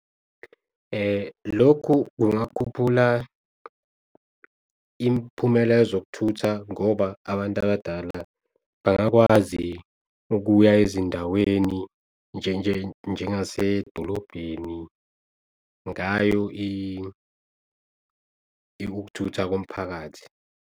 Lokhu kungakhuphula imiphumela yezokuthutha ngoba abantu abadala bayakwazi kuya ezindaweni njengasedolobheni ngayo ikuthutha komphakathi.